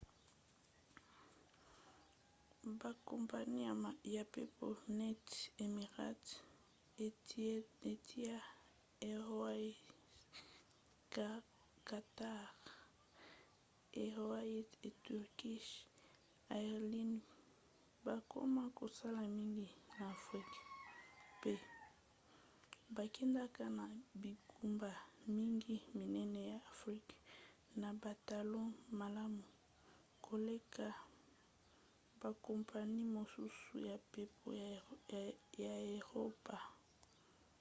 bakompani ya mpepo neti emirates etihad airways qatar airways & turkish airlines bakoma kosala mingi na afrika mpe bakendaka na bingumba mingi minene ya afrika na batalo malamu koleka bakompani mosusu ya mpepo ya eropa